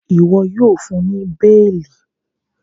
iwọ yíò fún ní beeli!